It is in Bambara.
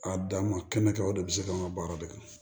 A dan ma kɛnɛ kan o de be se k'an ka baara de kɛ